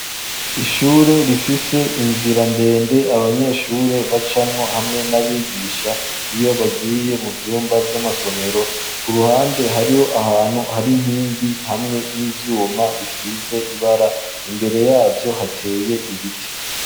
Ishure rifise inzirandende abanyeshure bacamwo hamwe n'abigisha iyo bagiye mu vyumba vy'amasomero ku ruhande hariho ahantu hari inkingi hamwe n'ivyuma bisize ibara imbere yavyo hateye ibiti.